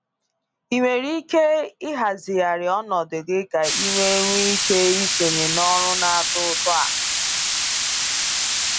Ị nwere ike ịhazigharị ọnọdụ gị ka i wee nwee ike isonye na ọrụ na-atọ ụtọ a?